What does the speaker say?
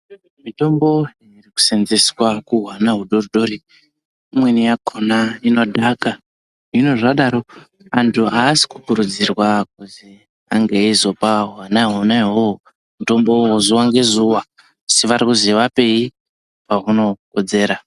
Mitombo irikusenzeswa kuhwana hudori-dori imweni yakona inodhaka. Hino zvadaro vantu havasi kukurudzirwa kuzi ange veizopa hwana ihoho mitombo ivovo zuva ngezuva. Asi varikuzi vapei pahunokodzera.